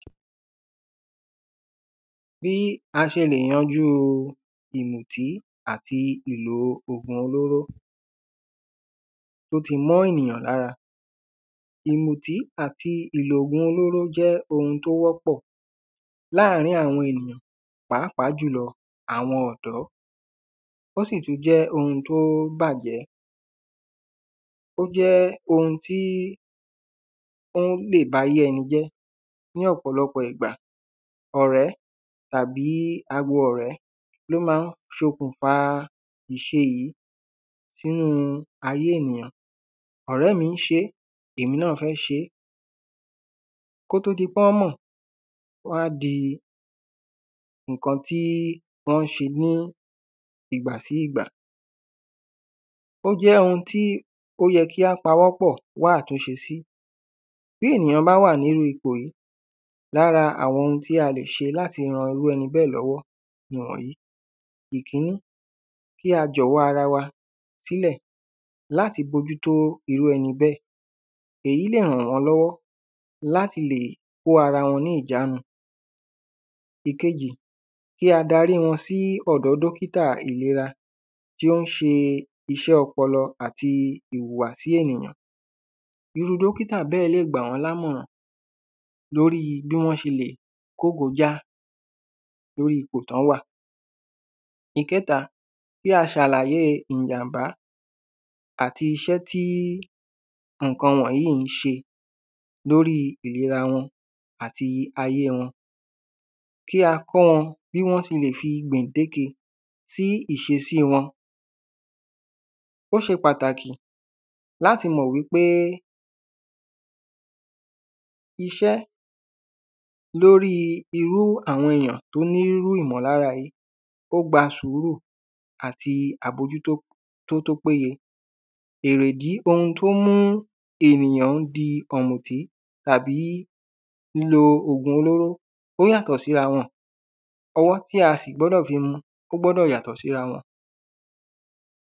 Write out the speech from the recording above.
Bí a ṣe lè yanjú ìmùtí àti ìlò ògùn olóró tí ó tí mọ́ ènìyàn lára Ìmùtí àti ìlò ògùn olóró jẹ́ oun tí o wọ́pọ̀ láàrín àwọn ènìyàn pàápàá jù lọ àwọn ọ̀dọ́ Ó sì tún jẹ́ oun tí ó bàjẹ́ Ó jẹ́ oun tí ó lè ba ayé ẹni jẹ́ Ní ọ̀pọ̀lọpọ̀ ìgbà ọ̀rẹ́ tàbí agbo ọ̀rẹ́ ni ó máa ń ṣokùnfà iṣẹ́ yìí sínú ayé ènìyàn Ọ̀rẹ́ mi ń ṣe é èmi náà fẹ́ ṣeé Kí ó tó di pé wọ́n mọ̀ a di nǹkan tí wọ́n ń ṣe ní ìgbà sí ìgbà O jẹ́ oun tí o yẹ kí á pawọ́pọ̀ wá àtúnṣe sí Bí ènìyàn bá wà ní iru ipò yìí lára àwọn oun tí a lè ṣe láti ran irú ẹni bẹ́ẹ̀ lọ́wọ́ nìwọ̀nyìí Ìkíní kí a jọ̀wọ́ ara wa sílẹ̀ láti bójútó irú ẹni bẹ́ẹ̀ Èyí lè ran wọ́n lọ́wọ́ láti lè kó ara wọn ní ìjánu Ìkejì kí á dari wọn sí ọ̀dọ̀ dókítà ìlera tí ó ń ṣe iṣẹ́ ọpọlọ àti ìhùwàsí ènìyàn Irú dókíta bẹ́ẹ̀ lè gbà wọ́n ní àmọ̀ràn lorí bí wọ́n ṣe lè kógojá lorí ipò tí wọ́n wà Ìkẹ́ta kí a ṣàlàyé ìjàm̀bá àti iṣẹ́ tí nǹkan wọ̀nyìí ń ṣe lórí ìríra wọn àti ayé wọn Kí a kọ́ wọn bí wọ́n ṣe lè fi gbèǹdéke sí ìṣesí wọn Ó ṣe pàtàkì láti mọ̀ wípé iṣẹ́ lorí irú àwọn èyàn tí ó ní irú ìmọlára yìí ó gba sùúrù àti àbójútó tí ó péye Erédi oun tí ó ń mú ènìyàn di ọ̀mùtí tàbí lílò ògùn olóró ó yàtọ̀ síra wọn Ọwọ́ tí a sì gbọ́dọ̀ fi mu ó gbọ́dọ̀ yàtọ̀ síra wọn